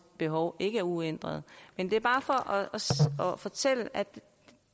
behov ikke er uændret men det er bare for at fortælle at